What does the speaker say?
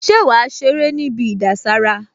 Ṣé wàá ṣeré níbi ìdására?